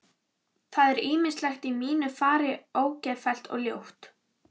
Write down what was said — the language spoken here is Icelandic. Það er ýmislegt í mínu fari ógeðfellt og ljótt.